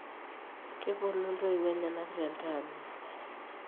kepuonu intoiwuo enyena tentaani